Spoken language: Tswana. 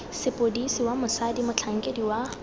sepodisi wa mosadi motlhankedi wa